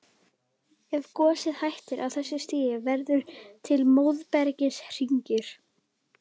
Ef gosið hættir á þessu stigi verða til móbergshryggir.